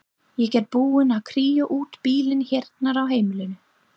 Ég er búin að kría út bílinn hérna á heimilinu.